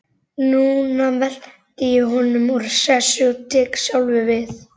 Núna velti ég honum úr sessi og tek sjálfur við.